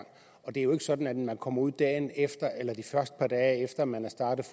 og det er jo ikke sådan at man kommer ud dagen efter eller de første par dage efter at man er startet